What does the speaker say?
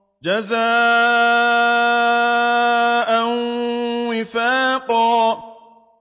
جَزَاءً وِفَاقًا